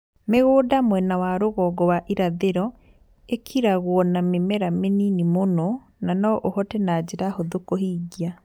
Mi͂gu͂nda mwena wa ru͂gongo wa irathi͂ro i͂kiragwo na mi͂mera mi͂nini mu͂no na no u͂hote na nji͂ra hu͂thu͂ ku͂hingia.